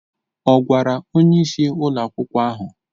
Ọ̀ gwara onyeisi ụlọ akwụkwọ ahụ?